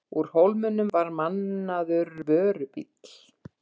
Úr Hólminum var mannaður vörubíll.